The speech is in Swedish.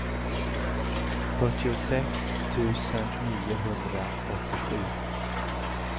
fyrtiosex tusen niohundraåttiosju